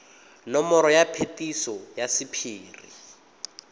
nomoro ya phetiso ya sephiri